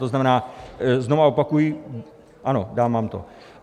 To znamená, znovu opakuji: ano, dám vám to.